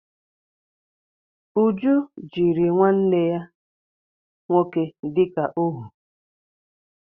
Uju jiri nwanne ya nwoke dịka óhú